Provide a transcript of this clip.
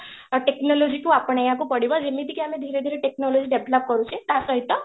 ଅ technology କୁ ଆପଣେଇବାକୁ ପଡିବ ଯେମିତି କି ଯେଆମେ ଧୀରେ ଧୀରେ thechnology କୁ develop କରୁଛେ ତା ସହିତ